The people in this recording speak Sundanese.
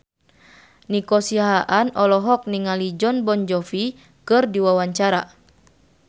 Nico Siahaan olohok ningali Jon Bon Jovi keur diwawancara